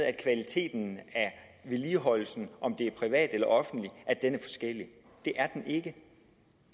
at kvaliteten af vedligeholdelsen om det er privat eller offentligt det er den ikke